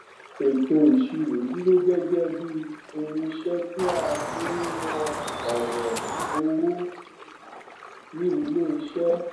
ètò ìsirò dúró gẹgẹ bíi irinsẹ tí a fi ń won ọrọ owó ni ilé iṣẹ